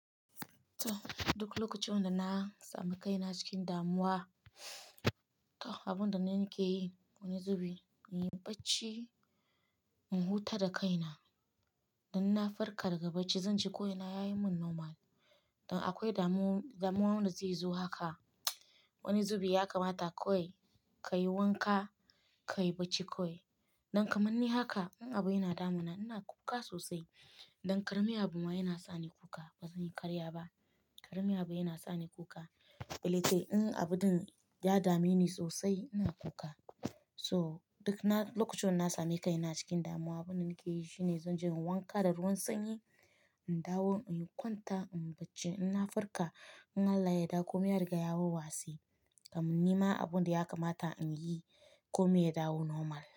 To, duk lokacin da na sami kaina cikin damuwa, abin da nake yi wani zubi, in yi barci in huta da kaina. Dan na farka daga barci, zan ji ko ina ya yi min normal. Don akwai damuwa wanda zai zo haka. Wani zubi ya kamata kawai ka yi wanka, ka yi barci kawai. Don kamar ni haka in abu yana damuna ina kuka sosai. Don karami abu ma yana sa ni kuka. Ba zan yi karya ba. Karami abu yana sa ni kuka. Lallai in abun da ya dame ni sosai ina kuka. So duk na lokacin da na sami kaina cikin damuwa, abin da nake yi shine zan je in wanka da ruwan sanyi, in dawo in kwanta in yi barci. In na farka, in Allah ya yarda komai ya riga ya watse Kamar ni ma abun da ya kamata in yi ko me ya dawo normal.